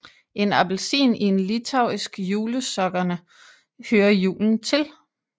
En appelsin i en litauisk julesokkerne hører julen til